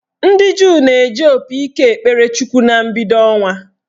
Ndị Juu na-eji opi ike ekpere Chukwu na mbido ọnwa